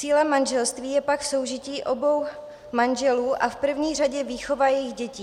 Cílem manželství je pak soužití obou manželů a v první řadě výchova jejich dětí.